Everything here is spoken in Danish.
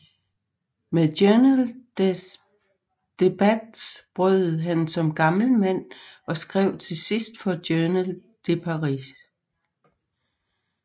Med Journal des Débats brød han som gammel mand og skrev til sidst for Journal de Paris